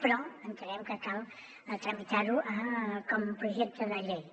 però entenem que cal tramitar ho com un projecte de llei